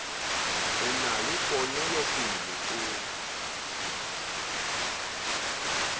o na le ponelopele o